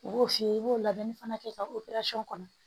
U b'o f'i ye i b'o labɛnni fana kɛ ka kɔnɔ